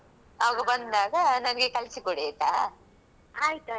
ಆಯ್ತಾಯ್ತು okay ಕಲ್ಸಿ ಕೊಡುವ ಏನು ಕಲಿಸಿ ಕೊಡದೆ.